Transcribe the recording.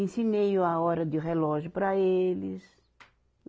Ensinei a hora de relógio para eles.